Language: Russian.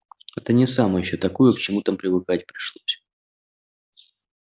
это не самое ещё такое к чему там привыкать пришлось